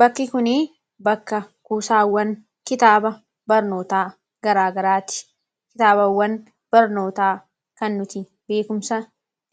bakki kuni bakka kuusaawwan kitaaba barnootaa garaagaraati kitaabawwan barnootaa kan nuti beekumsa